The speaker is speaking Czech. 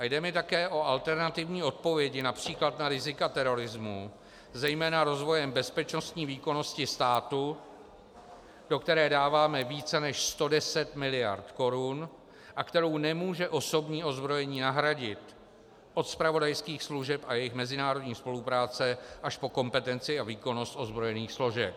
A jde mi také o alternativní odpovědi například na rizika terorismu zejména rozvojem bezpečnostní výkonnosti státu, do které dáváme více než 110 mld. korun a kterou nemůže osobní ozbrojení nahradit, od zpravodajských služeb a jejich mezinárodní spolupráce až po kompetenci a výkonnost ozbrojených složek.